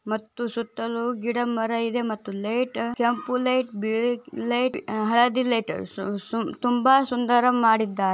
ಮತ್ತು ಸುತ್ತಲು ಗಿಡಮರ ಇದೆ ಮತ್ತು ಲೈಟ್ ಕೆಂಪು ಲೈಟ್ ಬಿಳಿ ಲೈಟ್ ಹಳದಿ ಲೈಟ್ ಸು ಸು-ಸು - ತುಂಬಾ ಸುಂದರ ಮಾಡಿದ್ದಾ--